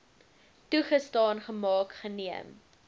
toegestaan gemaak geneem